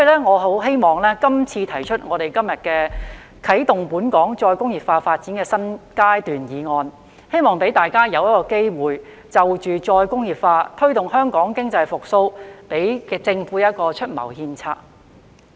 我很希望今天"啟動本港再工業化發展的新階段"議案，可以讓大家有機會就再工業化及推動香港經濟復蘇，向政府出謀獻策。